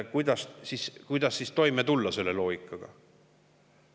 Kuidas siis toime tulla selle loogika järgi?